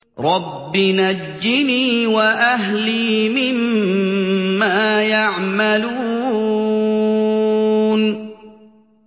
رَبِّ نَجِّنِي وَأَهْلِي مِمَّا يَعْمَلُونَ